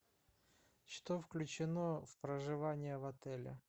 что включено в проживание в отеле